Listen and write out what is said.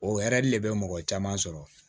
O hɛri de bɛ mɔgɔ caman sɔrɔ